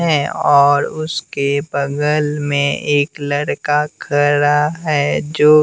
हैं और उसके बगल में एक लड़का खड़ा है जो--